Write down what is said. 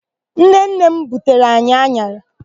Nnenne m butere anyị an̄ara.